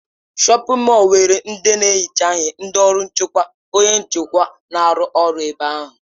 Shọpin mọll nwere ndị na-ehicha ihe, ndị ọrụ nchekwa, onye njikwa, na-arụ ọrụ ebe ahụ.